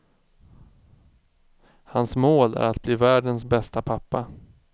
Hans mål är att bli världens bästa pappa.